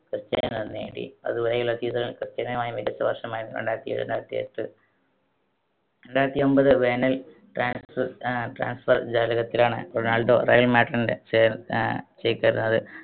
Cristiano നേടി. അതു വരെയുള്ള season ൽ ക്രിസ്റ്റിയാനോയുടെ മികച്ച വർഷമായിരുന്നു രണ്ടായിരത്തിയേഴ് രണ്ടായിരത്തിയെട്ട്. രണ്ടായിരത്തിഒൻപത് വേനൽ transfer ആഹ് transfer ജാലകത്തിലാണ് റൊണാൾഡോ റയൽ മാഡ്രിഡിന്റെ ചേർ ആഹ് ചേക്കേറുന്നത്.